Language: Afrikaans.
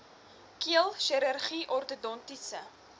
keel chirurgie ortodontiese